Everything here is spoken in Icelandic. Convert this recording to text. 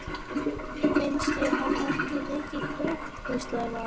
Finnst þér hann ekki mikið krútt? hvíslaði Vala.